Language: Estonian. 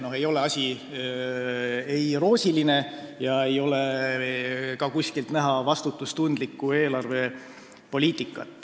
No ei ole see asi roosiline ega ole ka kuskilt näha vastutustundlikku eelarvepoliitikat.